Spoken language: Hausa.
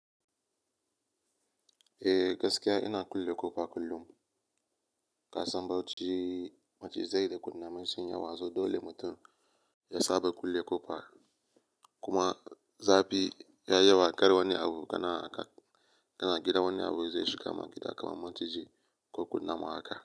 Eh gaskiya ina kulle ƙofa kullum. Ka san Bauchi macizai da kunnamai sun yi yawa so dole mutum ya saba kulle ƙofa. Kuma zafi ya yi yawa ƙar wani abu kana haka kana gida wani abu zai shiga ma gida kamar maciji ko kunama haka.